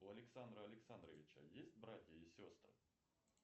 у александра александровича есть братья и сестры